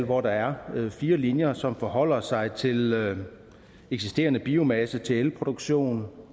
hvor der er fire linjer som forholder sig til eksisterende biomasse til elproduktion